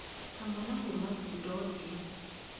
Hamwe na kuuma thundo ũthiũ